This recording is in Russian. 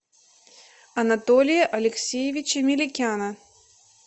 анатолия алексеевича меликяна